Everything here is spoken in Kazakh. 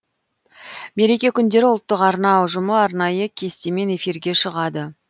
мереке күндері ұлттық арна ұжымы арнайы кестемен эфирге шығады